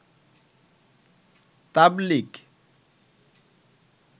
তাবলিগ